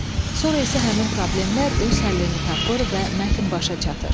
Sonra isə həmin problemlər öz həllini tapır və mətn başa çatır.